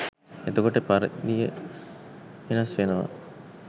එතකොට පරිදිය වෙනස් වෙනවා